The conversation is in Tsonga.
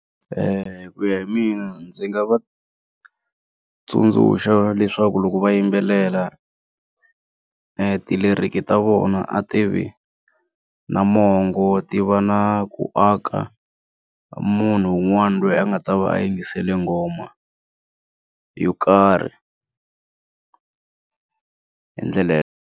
ku ya hi mina ndzi nga va tsundzuxa leswaku loko va yimbelela ti-lyric ta vona a tivi na mongo ti va na ku aka munhu un'wana loyi a nga ta va a yingisele nghoma yo karhi hi ndlela .